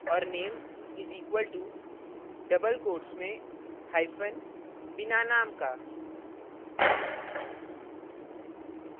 और name is equal to double quotes में hypen बिना name का